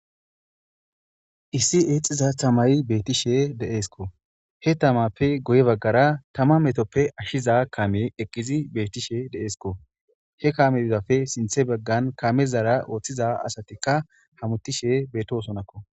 issi eexxiza tamayi beettishe de7eesko he tamappe goye baggara tama metoppe ashshiza kame eqqizi bettishe deeesko he kame idapfe sinthe baggan kamezara ooththiza asatikka hamutishe beetosonakko